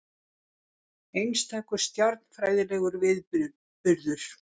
Einstakur stjarnfræðilegur viðburður